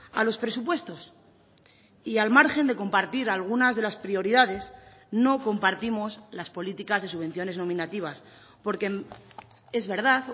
a los presupuestos y al margen de compartir algunas de las prioridades no compartimos las políticas de subvenciones nominativas porque es verdad